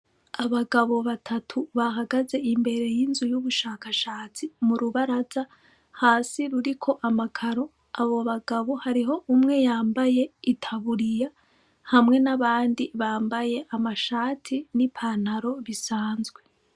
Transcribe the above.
Abagabo batatu bahagaze imbere y'inzu y'ubushakashatsi mu rubaraza hasi ruriko amakaro abo bagabo hariho umwe yambaye itaburiya hamwe n'abandi bambaye amashati n'i pantaro bisanzwe.